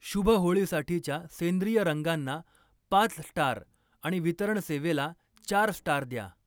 शुभ होळीसाठीच्या सेंद्रिय रंगांना पाच स्टार आणि वितरण सेवेला चार स्टार द्या.